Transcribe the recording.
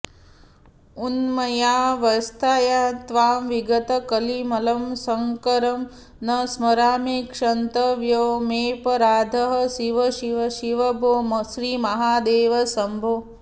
उन्मन्याऽवस्थया त्वां विगतकलिमलं शङ्करं न स्मरामि क्षन्तव्यो मेऽपराधः शिव शिव शिव भो श्रीमहादेव शम्भो